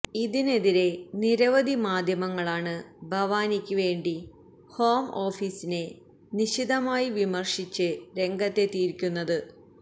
ഇതിനെതിരെ നിരവധി മാധ്യമങ്ങളാണ് ഭവാനിക്ക് വേണ്ടി ഹോം ഓഫീസിനെ നിശിതമായി വിമര്ശിച്ച് രംഗത്തെത്തിയിരുന്നത്